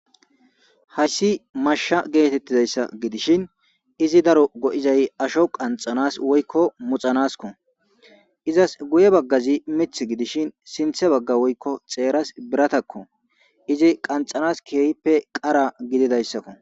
hayssi masha geetettizayssa gidishin izi daro go7izay asho qanxanas woykko muxanaskko izas guye baggazi mith gidishin sinthe bagga woykko xeeras biratakko izi qanxanas kiyeyppe qara gididayssakko